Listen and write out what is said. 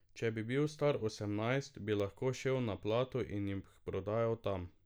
Če bi bil star osemnajst, bi lahko šel na Plato in jih prodal tam.